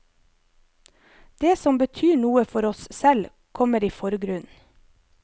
Det som betyr noe for oss selv, kommer i forgrunnen.